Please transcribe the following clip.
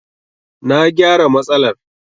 Na gyara matsalar.